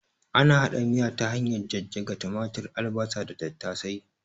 Ana hada miya ta hanyar jajjaga tumatur, albasa da tattasai